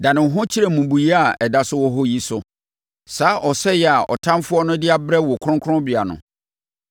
Dane wo ho kyerɛ mmubuiɛ a ɛda so wɔ hɔ yi so, saa ɔsɛeɛ a ɔtamfoɔ no de abrɛ wo kronkronbea no.